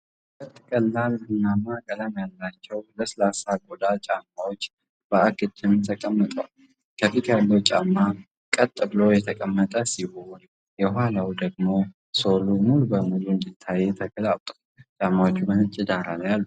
ሁለት ቀላል ቡናማ ቀለም ያላቸው ለስላሳ ቆዳ ጫማዎች በአግድም ተቀምጠዋል። ከፊት ያለው ጫማ ቀጥ ብሎ የተቀመጠ ሲሆን፣ የኋላው ደግሞ ሶሉ ሙሉ በሙሉ እንዲታይ ተገልብጦአል። ጫማዎቹ በነጭ ዳራ ላይ አሉ።